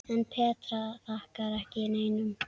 En Petra þakkar ekki neinum.